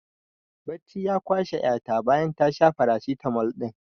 Bacci ya kwashe ƴa ta bayan ta sha farasitamol ɗin